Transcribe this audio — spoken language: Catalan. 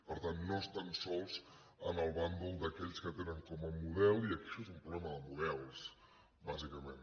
per tant no estan sols en el bàndol d’aquells que tenen com a model i això és un problema de models bàsicament